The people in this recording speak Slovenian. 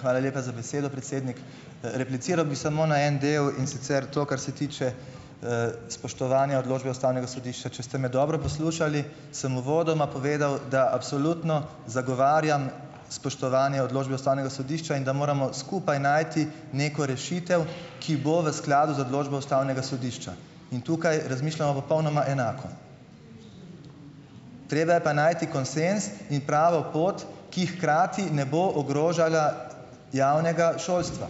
Hvala lepa za besedo, predsednik. Repliciral bi samo na en del, in sicer to, kar se tiče, spoštovanja odločbe ustavnega sodišča. Če ste me dobro poslušali, samo uvodoma povedal, da absolutno zagovarjam spoštovanje odločbe ustavnega sodišča in da moramo skupaj najti neko rešitev, ki bo v skladu z odločbo ustavnega sodišča in tukaj razmišljamo popolnoma enako. Treba je pa najti konsenz in pravo pot, ki hkrati ne bo ogrožala javnega šolstva.